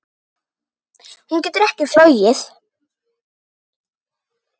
Hún getur ekki flogið.